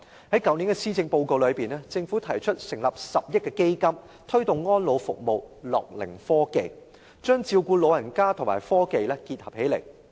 政府在去年的施政報告中提出成立一個10億元的基金，以推動安老服務和樂齡科技，將照顧老人與科技結合起來。